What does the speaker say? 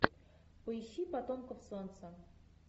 поищи потомков солнца